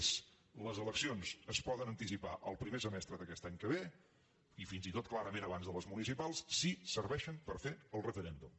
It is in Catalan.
és les eleccions es poden anticipar al primer semestre d’aquest any que ve i fins i tot clarament abans de les municipals si serveixen per fer el referèndum